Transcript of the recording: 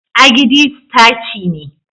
" agidi" staci ne.